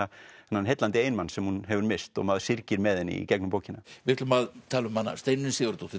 þennan heillandi eiginmann sem hún hefur misst og maður syrgir með henni í gegnum bókina við ætlum að tala um Steinunni Sigurðardóttur